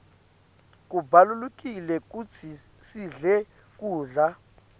kubalulekile kutsi sidle kudla